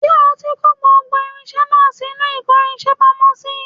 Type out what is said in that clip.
Ṣé o ti kò gbogbo irinṣẹ́ náà sínú ìkórinṣẹ́ pamọ́ sí